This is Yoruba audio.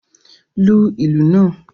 Lu ìlù naa!